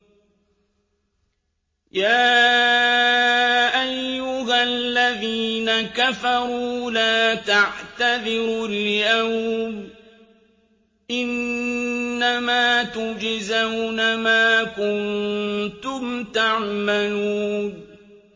يَا أَيُّهَا الَّذِينَ كَفَرُوا لَا تَعْتَذِرُوا الْيَوْمَ ۖ إِنَّمَا تُجْزَوْنَ مَا كُنتُمْ تَعْمَلُونَ